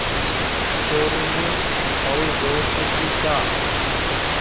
चोरु ने और ज़ोर से खींचा